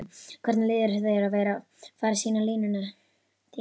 Hvernig líður þér að vera fara sýna línuna þína?